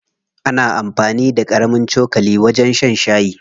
Ana amfani da ƙarami cokali wajen shan shayi.